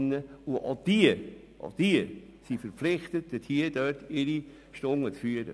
Auch sie sind dazu verpflichtet, ihre Stunden zu dokumentieren.